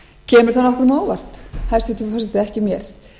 kemur það nokkrum á óvart hæstvirtur forseti ekki mér